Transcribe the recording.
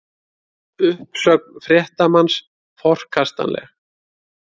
Uppsögn fréttamanns forkastanleg